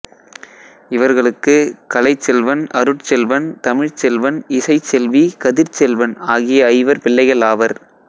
இவர்களுக்கு கலைச்செல்வன் அருட்செல்வன் தமிழ்ச்செல்வன் இசைச்செல்வி கதிர்ச்செல்வன் ஆகிய ஐவர் பிள்ளைகள் ஆவர்